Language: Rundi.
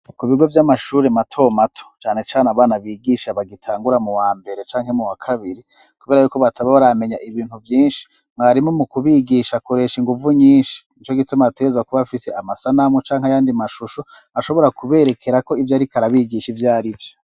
Ku bigo vy'amashuri mato mato cyane cane abana bigisha bagitangura mu wambere canke mu wa kabiri kubera yuko bataba baramenya ibintu byinshi mwarimo mu kubigisha koresha inguvu nyinshi ico gituma ateza kuba afise amasanamu canke yandi mashusho nashobora kuberekera ko ibyo arikarabigisha ivyari vyo.